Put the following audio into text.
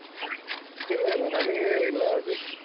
ಇಲ್ಲ ಇಲ್ಲ ನಮಿಗೆ ಇಲ್ಲಾ ಹಾಗೆ.